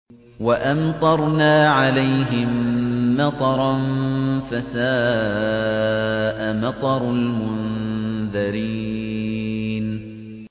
وَأَمْطَرْنَا عَلَيْهِم مَّطَرًا ۖ فَسَاءَ مَطَرُ الْمُنذَرِينَ